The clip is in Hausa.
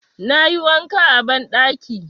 Na yi wanka a banɗaki.